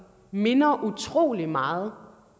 minder utrolig meget